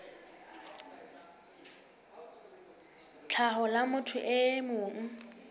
tlhaho la motho e mong